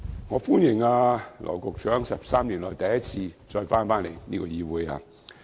我歡迎羅局長在13年後重返立法會。